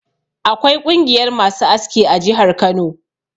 Akwai ƙungiyar masu aski a jihar Kano.